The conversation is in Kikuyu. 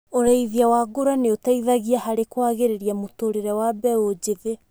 Ũrĩithia wa ngũrũwe nĩ ũteithagia harĩ kwagĩria mũtũrĩre wa mbeũ njĩthĩ.